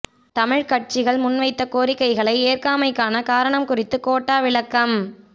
தமிழ்க் கட்சிகள் முன்வைத்த கோரிக்கைகளை ஏற்காமைக்கான காரணம் குறித்து கோட்டா விளக்கம்